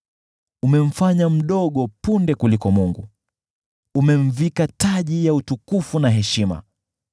Umemfanya chini kidogo kuliko viumbe wa mbinguni, ukamvika taji ya utukufu na heshima.